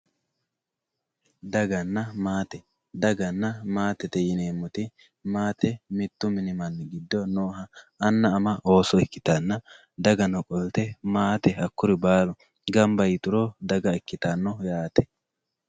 Daganna maatte, maatte mitu mini gido nooha amana ana, ooso ikkitanna, dagano qolite maatte hakuri baalu gamba yituro daga ikkitano yaate